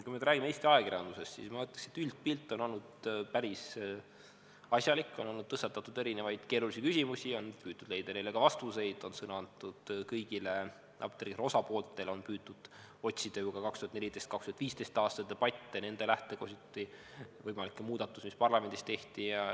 Kui me räägime Eesti ajakirjandusest, siis ma ütleksin, et üldpilt on olnud päris asjalik, on tõstatatud erinevaid keerulisi küsimusi, on püütud leida neile ka vastuseid, on sõna antud kõigile apteegituru osapooltele, on püütud otsida ju ka 2014.–2015. aasta debatte, nende lähtekohti, võimalikke muudatusi, mis parlamendis tehti.